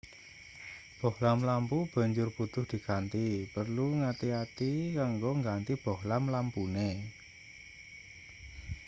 bohlam lampu banjur butuh diganti perlu ngati-ati kanggo ngganti bohlam lampune